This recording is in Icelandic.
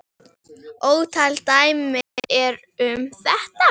Ótal dæmi eru um þetta.